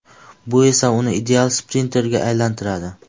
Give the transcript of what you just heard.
Bu esa uni ideal sprinterga aylantiradi.